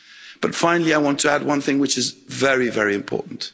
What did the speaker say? But finally, I want to add one thing which is very, very important.